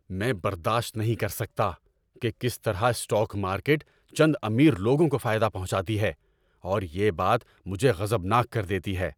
میں برداشت نہیں کر سکتا کہ کس طرح اسٹاک مارکیٹ چند امیر لوگوں کو فائدہ پہنچاتی ہے اور یہ بات مجھے غضبناک کر دیتی ہے۔